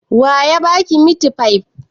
Wa ya ba ki mitifai?